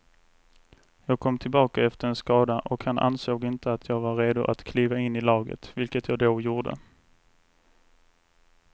Jag kom tillbaka efter en skada och han ansåg inte att jag var redo att kliva in i laget, vilket jag då gjorde.